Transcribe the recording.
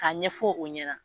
A ɲɛfɔ o ɲɛna.